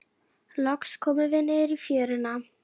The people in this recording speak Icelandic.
Loks komum við niður í fjöruna.